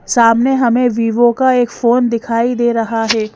सामने हमें विवो का एक फोन दिखाई दे रहा है।